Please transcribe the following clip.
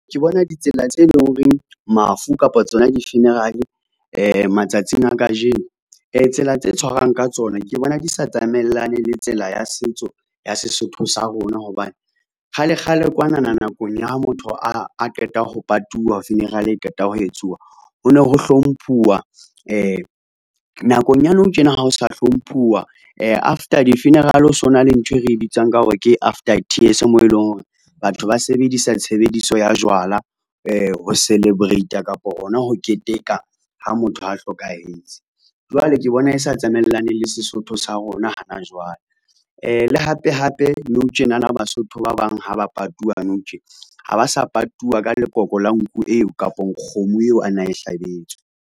Ke bona ditsela tse leng horeng mafu kapa tsona di-funeral-e matsatsing a kajeno tsela tse tshwarang ka tsona ke bona di sa tsamaellane le tsela ya setso ya Sesotho sa rona. Hobane kgalekgale kwanana nakong ya ha motho a qeta ho patuwa funeral e qeta ho etsuwa. Ho no ho hlomphuwa nakong ya nou tjena ha ho sa hlomphuwa. After di-funeral o so na le ntho e re bitsang ka hore ke after tears moo eleng hore batho ba sebedisa tshebediso ya jwala ho celebrate-a kapo, hona ho keteka ha motho a hlokahetse. Jwale ke bona e sa tsamaelaneng le Sesotho sa rona hana jwale. Le hape hape nou tjenana, Basotho ba bang ha ba patuwa nou tjena. Ha ba sa patuwa ka lekoko la nku eo kapong kgomo eo a na e hlabetswe.